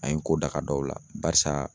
An ye ko daka dɔw la barisaa